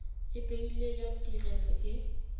e beilweng ya tirelo e